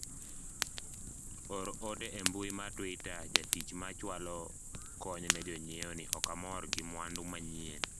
or ote e mbui mar twita jatich ma chwalo kony ne jonyiewo ni ok amor gi mwandu manyien